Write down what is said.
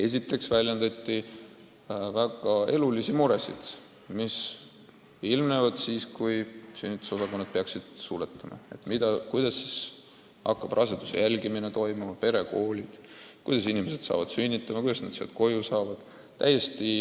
Kõigepealt väljendati väga elulisi muresid, mis ilmnevad siis, kui sünnitusosakonnad peaks suletama: kuidas hakkab raseduse jälgimine toimuma, kuidas töötama perekoolid, kuidas inimesed jõuavad sünnitama ja kuidas nad haiglast koju saavad.